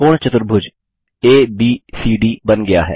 समकोण चतुर्भुज एबीसीडी बन गया है